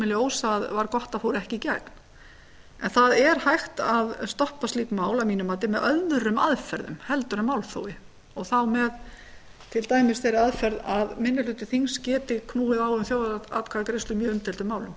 ljós að var gott að fá ekki í gegn en það er hægt að stöðva slík mál að mínu mati með öðrum aðferðum heldur en málþófi og þá með til dæmis þeirri aðferð að minni hluti þings geti knúið á um þjóðaratkvæðagreiðslu í umdeildum málum